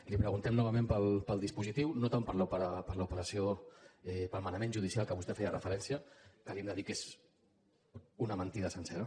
li preguntem novament pel dispositiu no tant per l’operació pel manament judicial a què vostè feia referència que li hem de dir que és una mentida sencera